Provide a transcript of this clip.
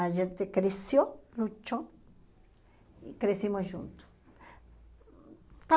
A gente cresceu, lutou e crescemos juntos.